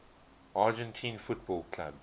argentine football clubs